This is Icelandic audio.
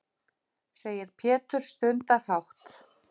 segir Pétur stundarhátt.